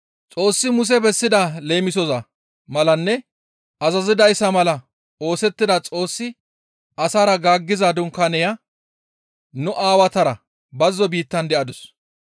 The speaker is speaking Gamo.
«Xoossi Muse bessida leemisoza malanne azazidayssa mala oosettida Xoossi asara gaaggiza dunkaaneya nu aawatara bazzo biittan de7adus.